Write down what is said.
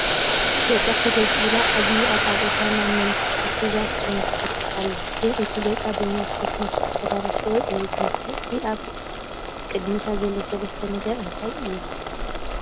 ገፃ ፈገግ ኢላ ዓባይ ኣፃብዕታ ናብ መንከሳ ሒዛ ተመላኽት ኣላ ግን እቲ ገፃ ብኮስመቲክስ ዝተበላሸወ እዩ ዝመስል፡እቲ ኣብ ቕድሚታ ዘሎ ሰለስተ ነገር እንታይ'ዩ ?